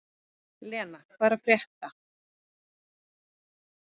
Lena, hvað er að frétta?